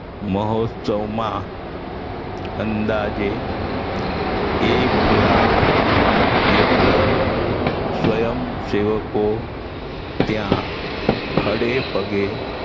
મહોત્સવમાં અંદાજે એક લાખ જેટલા સ્વયંસેવકો ત્યાં ખડેપગે